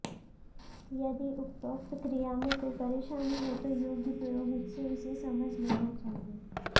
यदि उपरोक्त क्रिया में कोई परेशानी हो तो योग्य पुरोहित से इसे समझ लेनी चाहिए